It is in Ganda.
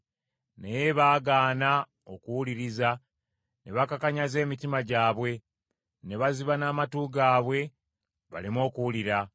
“Naye baagaana okuwuliriza ne bakakanyaza emitima gyabwe ne baziba n’amatu gaabwe baleme okuwulira.